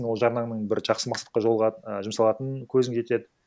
ол жарнаңның бір жақсы мақсатқа і жұмсалатынына көзің жетеді